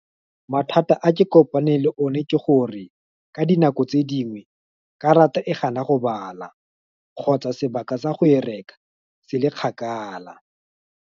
Mathata a ke kopane le one ke gore, ka dinako tse dingwe, karata e gana go bala, kgotsa sebaka sa go e reka, se le kgakala.